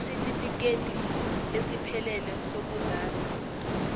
isitifikedi esiphelele sokuzalwa